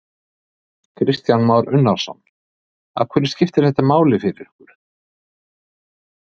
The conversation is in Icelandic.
Kristján Már Unnarsson: Af hverju skiptir þetta máli fyrir ykkur?